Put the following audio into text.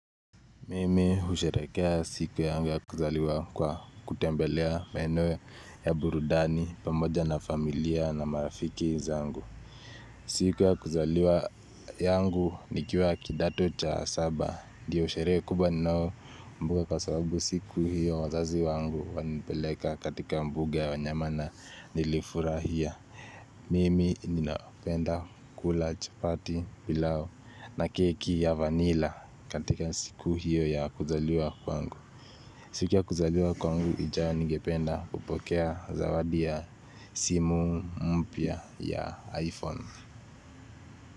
Mimi usherekea siku yangu ya kuzaliwa kwa kutembelea maeno ya burudani pamoja na familia na marafiki zangu siku ya kuzaliwa yangu nikiwa kidato cha saba ndiyo sheree kubwa ninao kumbuka kwa sababu siku hiyo wazazi wangu wanipeleka katika mbuga ya wanyamana nilifurahia Mimi ninapenda kula chapati pilau na keki ya vanila katika siku hiyo ya kuzaliwa kwangu siku ya kuzaliwa kwangu ijao nigependa kupokea zawadia simu mpya ya iPhone.